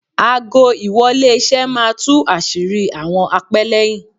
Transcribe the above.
Aago- ìwọlé- iṣẹ́ máa tú àṣírí àwọn apẹ́lẹ́yìn.